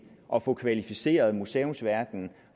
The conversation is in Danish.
at få kvalificeret museumsverdenen